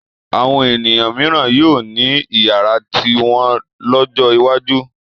Àwọn ènìyàn mìíràn yóò ní ìyàrá tiwọn lọ́jọ́ iwájú.